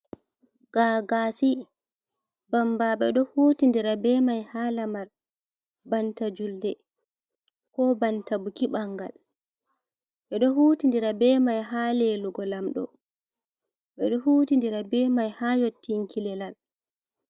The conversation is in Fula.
Gagasi, bambaɓe ɗo huti ndira be mai ha lamar banta julde, ko banta buki ɓangal, ɓeɗo huti ndira be mai ha lelugo lamɗo, ɓeɗo huti ndira be mai ha yottinki lelal.